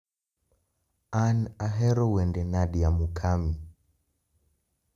An ahero wende Nadia Mukami